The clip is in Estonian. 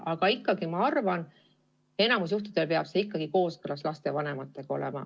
Aga ikkagi ma arvan, et enamikul juhtudel peab see olema kooskõlas lapsevanematega.